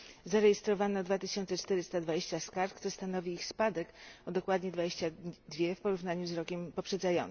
Zarejestrowano 2420 skarg, co stanowi ich spadek o dokładnie 22 w porównaniu z rokiem poprzednim.